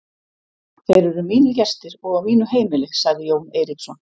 Þeir eru mínir gestir og á mínu heimili, sagði Jón Eiríksson.